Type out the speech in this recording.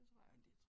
Det tror jeg